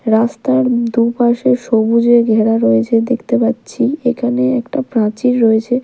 রাস্তার দুপাশে সবুজে ঘেরা রয়েছে দেখতে পাচ্ছি এখানে একটা প্রাচীর রয়েছে।